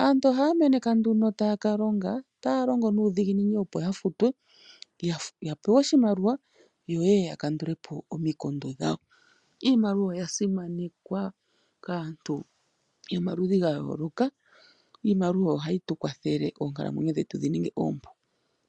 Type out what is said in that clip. Aantu ohaya meneka nduno taya ka longa taya longo nuudhiginini, opo ya futwe ya pewe oshimaliwa yo yeye ya kandule po omikundu dhawo. Iimaliwa oya simanekwa kaantu yomaludhi ga yooloka. Iimaliwa oyo hayi tu kwathele oonkalamwenyo dhetu dhi ninge oompu.